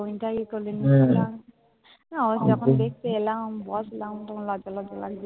যখন দেখতে এলাম, বসলাম তখন লজ্জা লজ্জা লাগছিল।